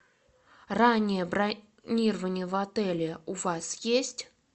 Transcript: раннее бронирование в отеле у вас есть